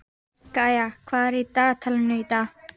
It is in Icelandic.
Kæja, hvað er á dagatalinu í dag?